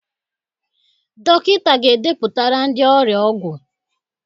Dọkịta ga edepụtara ndị ọrịa ọgwụ.